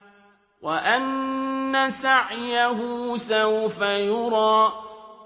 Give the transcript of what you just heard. وَأَنَّ سَعْيَهُ سَوْفَ يُرَىٰ